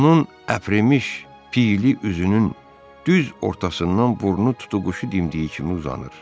Onun əprimiş, piyli üzünün düz ortasından burnu tutuquşu dimdiyi kimi uzanır.